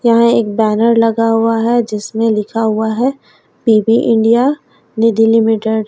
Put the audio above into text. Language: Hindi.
यहां एक बैनर लगा हुआ है जिसमें लिखा हुआ है पी_बी इंडिया निधि लिमिटेड --